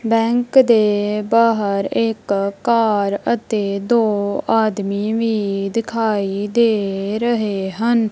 Bank ਦੇ ਬਾਹਰ ਇੱਕ ਕਾਰ ਅਤੇ ਦੋ ਆਦਮੀ ਵੀ ਦਿਖਾਈ ਦੇ ਰਹੇ ਹਨ।